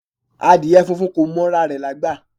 Adìẹ funfun kò mọ ra rè lágbà